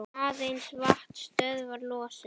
Aðeins vatn stöðvar losun.